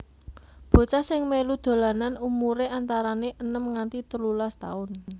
Bocah sing melu dolanan umure antarane enem nganti telulas taun